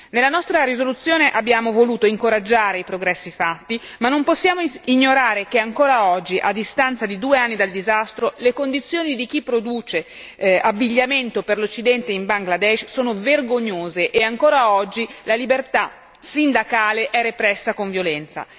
Nella nostra risoluzione abbiamo voluto incoraggiare i progressi fatti, ma non possiamo ignorare che ancora oggi, a distanza di due anni dal disastro, le condizioni di chi produce abbigliamento per l'occidente in Bangladesh sono vergognose e ancora oggi la libertà sindacale è repressa con violenza.